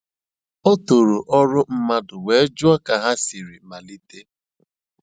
O tòrò ọ́rụ́ mmadụ́ wéé jụ́ọ́ kà ha sìrì malìtè.